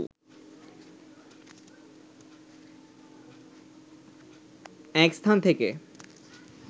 এক স্থান থেকে